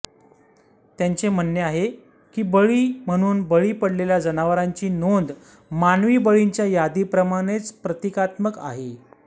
त्यांचे म्हणणे आहे की बळी म्हणून बळी पडलेल्या जनावरांची नोंद मानवी बळींच्या यादीप्रमाणेच प्रतिकात्मक आहे